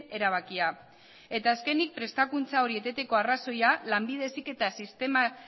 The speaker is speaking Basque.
erabakia eta azkenik prestakuntza hori eteteko arrazoia lanbide heziketa sistemak